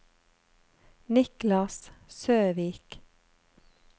Niklas Søvik